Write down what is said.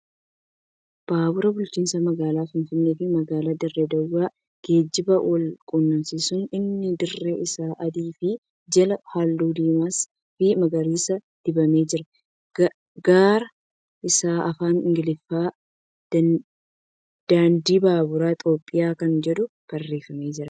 Baabura bulchiinsa magaalaa Finfinnee fi magaalaa Dirree Dawaa geejjibaan wal qunnamsiisu. Innis dirri isaa adii fi jalaan halluu diimas fi magariisa dibamee jira. Garaa irraa afaan Ingiliffaan ' Daandii baabura Itiyoophiyaa' kan jedhu barreeffamee jira.